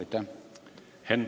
Aitäh!